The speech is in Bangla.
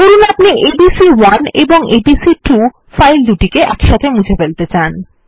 ধরুন আপনি এবিসি1 এবং এবিসি2 ফাইল দুটি মুছে ফেলাত়ে চান